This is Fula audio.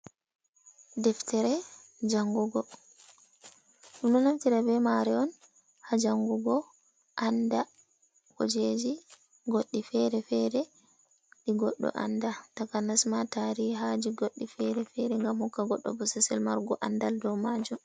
Deftere jangugo ɓe ɗo naftira be maare on ha jangugo aanda kujeji goɗɗi fere-fere ɗi goɗɗo anda takanas ma tarihaaji goɗɗi fere-fere ngam hokka goɗɗo bosesel margo aandal dow majum.